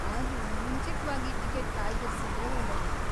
ಆದ್ರೂ, ಮುಂಚಿತ್ವಾಗಿ ಟಿಕೆಟ್ ಕಾಯ್ದಿರಿಸಿದ್ರೆ ಒಳ್ಳೆದು.